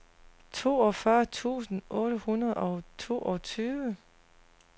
toogfyrre tusind otte hundrede og toogtyve